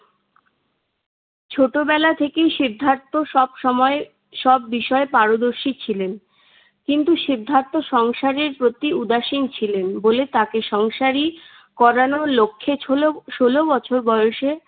ছোটবেলা থেকেই সিদ্ধার্থ সবসময় সব বিষয় পারদর্শী ছিলেন। কিন্তু সিদ্ধার্থ সংসারের প্রতি উদাসীন ছিলেন বলে তাকে সংসারী করানোর লক্ষ্যে ষোল~ ষোলো বছর বয়সে